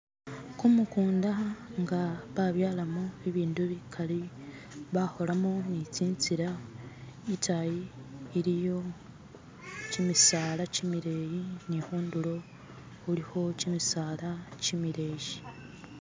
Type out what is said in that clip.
Kumukunda nga babyalamo bindu bikali, bakholamo ne tsintsila, itayi, iliyo kimisala kimileyi nikhundulo khulikho kimisaala kimileyi.